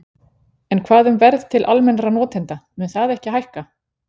En hvað um verð til almennra notenda, mun það ekki hækka?